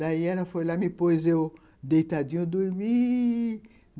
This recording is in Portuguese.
Daí ela foi lá, me pôs eu deitadinho a dormir.